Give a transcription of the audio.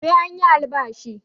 Sai an yi albashi